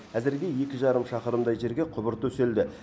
әзірге екі жарым шақырымдай жерге құбыр төселді